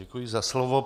Děkuji za slovo.